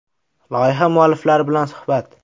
Loyiha mualliflari bilan suhbat .